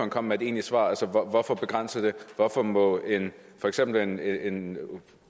kom med et egentlig svar begrænse det hvorfor må for eksempel en en